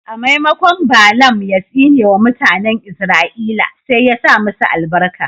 A maimakon Baalam ya tsine wa mutanen Izra'ila sai ya sa masu albarka.